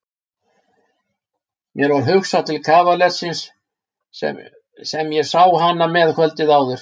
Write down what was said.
Mér varð hugsað til kavalersins sem ég sá hana með kvöldið áður.